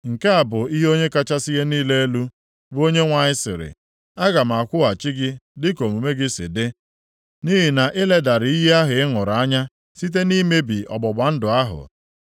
“ ‘Nke a bụ ihe Onye kachasị ihe niile elu, bụ Onyenwe anyị sịrị, Aga m akwụghachi gị dịka omume gị si dị, nʼihi na ị ledara iyi ahụ ị ṅụrụ anya site nʼimebi ọgbụgba ndụ ahụ. + 16:59 Ị kpachara anya mebie ọgbụgba ndụ nke mụ na gị gbara.